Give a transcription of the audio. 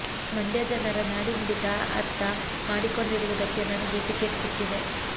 ಮಂಡ್ಯ ಜನರ ನಾಡಿ ಮಿಡಿತ ಅರ್ಥ ಮಾಡಿಕೊಂಡಿರುವುದಕ್ಕೆ ನನಗೆ ಟಿಕೆಟ್ ಸಿಕ್ಕಿದೆ